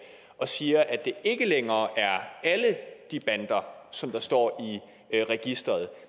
og siger at det ikke længere er alle de bander som der står i registeret